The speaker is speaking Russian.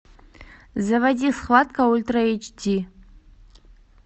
заводи схватка ультра эйч ди